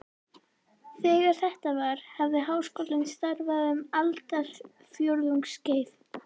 Þegar þetta var, hafði Háskólinn starfað um aldarfjórðungs skeið.